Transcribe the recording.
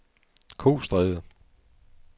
Kostræde